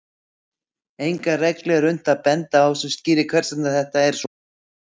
Enga reglu er unnt að benda á sem skýrir hvers vegna þetta er svona.